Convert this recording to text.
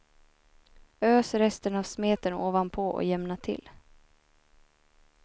Ös resten av smeten ovanpå och jämna till.